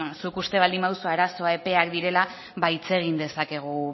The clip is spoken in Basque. zuk uste baldin baduzu arazoa epeak direla ba hitz egin dezakegu